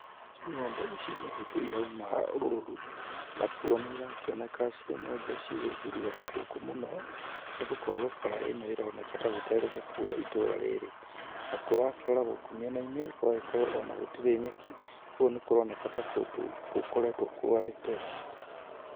Ng'ombe ici nĩ hĩndĩ irauma rũru nakuo nĩ irakĩoneka cirĩ ng'ombe cikũhuria rũkũngũ mũno, nĩ gukorwo bara ĩno ĩroneka ta gũterĩga kuura itũra rĩrĩ. Na kuo wakĩrora gũkũ mĩena-inĩ gũgagĩkorwo ona gũtirĩ nyeki, ũguo ni kũroneka ta kũndũ gũkoretwo kwarĩte.